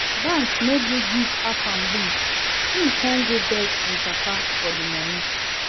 Bank no gree give Afam loan, im come go beg im papa for the money